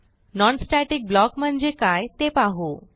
non static block म्हणजे काय ते पाहू